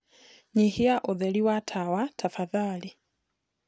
nyĩhĩaũtheri wa tawa tafadhalĩ